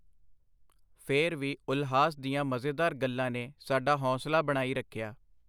ਫੇਰ ਵੀ ਉਲਹਾਸ ਦੀਆਂ ਮਜ਼ੇਦਾਰ ਗੱਲਾਂ ਨੇ ਸਾਡਾ ਹੌਂਸਲਾ ਬਣਾਈ ਰੱਖਿਆ.